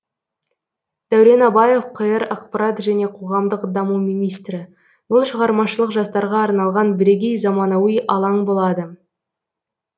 дәурен абаев қр ақпарат және қоғамдық даму министрі бұл шығармашылық жастарға арналған бірегей заманауи алаң болады